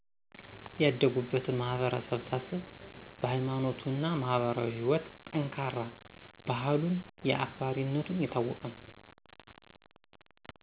ያደጉበትን ማህበረሰብ ሳስብ በ ሀይማኖቱ እና ማህበራዊ ህይወትጠንካራ ባህሉን አክባሪነቱን የታወቀ ነዉ።